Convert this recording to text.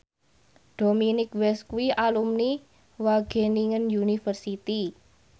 Dominic West kuwi alumni Wageningen University